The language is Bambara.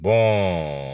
Bɔn